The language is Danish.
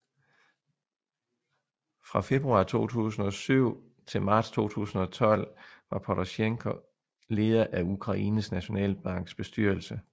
Fra februar 2007 til marts 2012 var Porosjenko leder af Ukraines nationalbanks bestyrelse